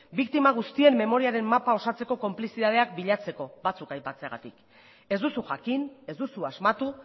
biktima guztienmemoriaren mapa osatzeko konplizidadeak bilatzeko batzuk aipatzeagatik ez duzu jakin ez duzu asmatu